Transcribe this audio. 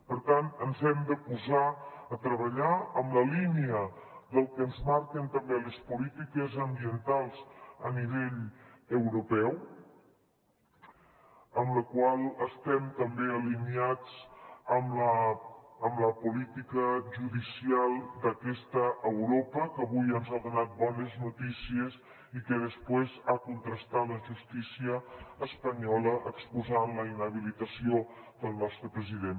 per tant ens hem de posar a treballar en la línia del que ens marquen també les polítiques ambientals a nivell europeu amb la qual estem també alineats amb la política judicial d’aquesta europa que avui ens ha donat bones notícies i que després ha contrastat la justícia espanyola exposant la inhabilitació del nostre president